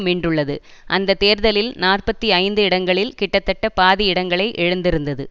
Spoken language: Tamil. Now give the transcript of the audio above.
மீண்டுள்ளது அந்த தேர்தலில் நாற்பத்தி ஐந்து இடங்களில் கிட்டத்தட்ட பாதி இடங்களை இழந்திருந்தது